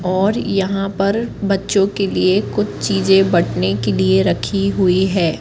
और यहां पर बच्चों के लिए कुछ चीजे बटने के लिए रखी हुई है।